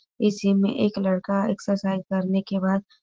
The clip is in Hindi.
इसी में एक लड़का एक्सरसाइज करने के बाद --